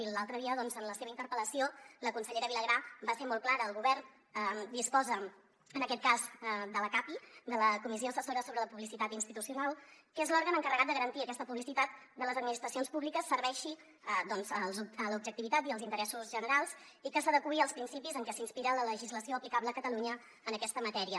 i l’altre dia doncs en la seva interpel·lació la consellera vilagrà va ser molt clara el govern disposa en aquest cas de la capi de la comissió assessora sobre la publicitat institucional que és l’òrgan encarregat de garantir que aquesta publicitat de les administracions públiques serveixi l’objectivitat i els interessos generals i que s’adeqüi als principis en què s’inspira la legislació aplicable a catalunya en aquesta matèria